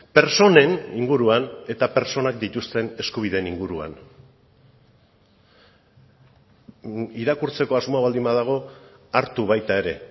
pertsonen inguruan eta pertsonak dituzten eskubideen inguruan irakurtzeko asmoa baldin badago hartu baita ere